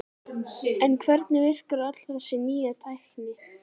En hvernig virkar öll þessi nýja tækni?